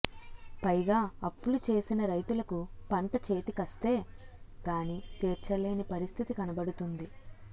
పైగా అప్పులు చేసిన రైతులకు పంట చేతికస్తే గాని తీర్చ లేని పరిస్థితి కనబడుతోంది